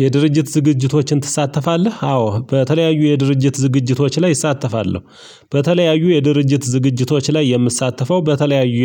የድርጅት ዝግጅቶችን ትሳተፋለህ? አዎ በተለያዩ የድርጅት ዝግጅቶች ላይ እሳተፋለሁ። በተለያዩ የድርጅት ዝግጅቶች ላይ የምሳተፈው በተለያየ